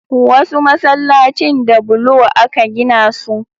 Wasu masallacin da bulo aka gina su